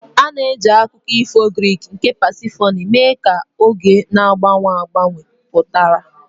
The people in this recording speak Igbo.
A na-eji akụkọ ifo Greek nke Pasifoni mee ka oge na-agbanwe agbanwe pụtara.